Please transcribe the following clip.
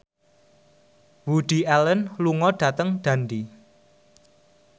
Woody Allen lunga dhateng Dundee